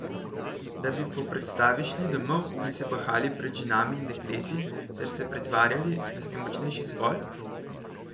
Da bi po predstavi šli domov in se bahali pred ženami in dekleti ter se pretvarjali, da ste močnejši spol?